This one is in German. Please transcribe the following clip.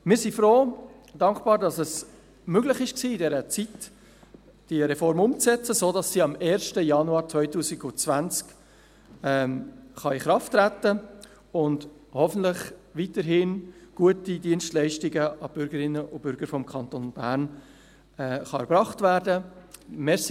Wir sind froh und dankbar, dass es möglich war, die Reform in dieser Zeit umzusetzen, sodass sie am 1. Januar 2020 in Kraft treten kann, und hoffentlich weiterhin gute Dienstleistungen für die Bürgerinnen und Bürger des Kantons Bern erbracht werden können.